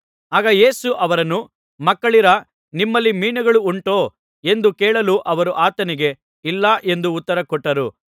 ಆಗ ಯೇಸು ಅವರನ್ನು ಮಕ್ಕಳಿರಾ ನಿಮ್ಮಲ್ಲಿ ಮೀನುಗಳು ಉಂಟೋ ಎಂದು ಕೇಳಲು ಅವರು ಆತನಿಗೆ ಇಲ್ಲ ಎಂದು ಉತ್ತರಕೊಟ್ಟರು